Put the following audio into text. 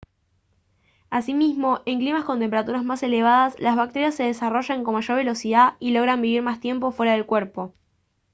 asimismo en climas con temperaturas más elevadas las bacterias se desarrollan con mayor velocidad y logran vivir más tiempo fuera del cuerpo